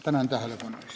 Tänan tähelepanu eest!